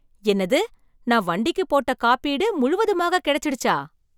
என்னது நான் வண்டிக்கு போட்ட காப்பீடு முழுவதுமாக கிடைச்சுடுச்சா !